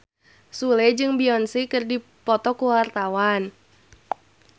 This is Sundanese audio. Sule jeung Beyonce keur dipoto ku wartawan